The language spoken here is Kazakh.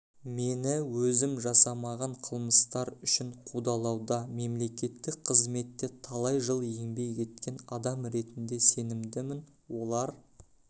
мені өзім жасамаған қылмыстар үшін қудалауда мемлекеттік қызметте талай жыл еңбек еткен адам ретінде сенімдімін олар